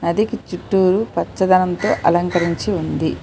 నదికి చుట్టూరు పచ్చదనంతో అలంకరించి ఉంది.